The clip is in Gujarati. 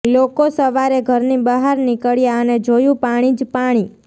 લોકો સવારે ઘરની બહાર નીકળ્યા અને જોયું પાણી જ પાણી